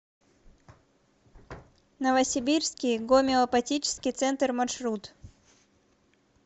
новосибирский гомеопатический центр маршрут